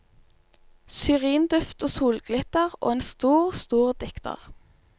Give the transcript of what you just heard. Syrinduft og solglitter og en stor, stor dikter.